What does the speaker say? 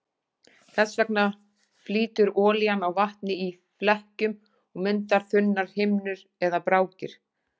Þess vegna flýtur olían á vatni í flekkjum og myndar þunnar himnur eða brákir.